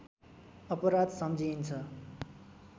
अपराध सम्झिइन्छ